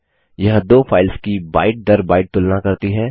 यह दो फाइल्स की बाइट दर बाइट तुलना करती है